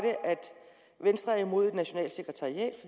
venstre er imod et nationalt sekretariat